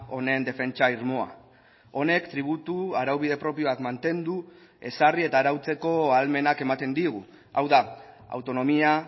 honen defentsa irmoa honek tributu araubide propioak mantendu ezarri eta arautzeko ahalmenak ematen digu hau da autonomia